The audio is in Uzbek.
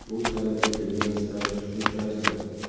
Bu talab etilgan staj tushunchasi.